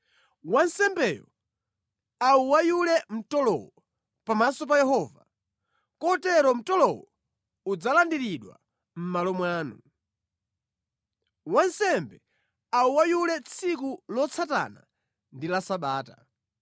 Wansembeyo auweyule mtolowo pamaso pa Yehova kotero mtolowo udzalandiridwa mʼmalo mwanu. Wansembe auweyule tsiku lotsatana ndi la Sabata.